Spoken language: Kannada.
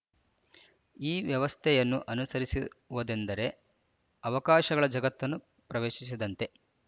ಈ ವ್ಯವಸ್ಥೆಯನ್ನು ಅನುಸರಿಸುವುದೆಂದರೆ ಅವಕಾಶಗಳ ಜಗತ್ತನ್ನು ಪ್ರವೇಶಿಸಿದಂತೆ